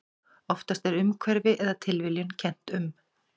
Oftast er umhverfi eða tilviljun kennt um.